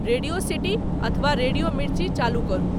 radio City अथवा Radio Mirchi चालू करू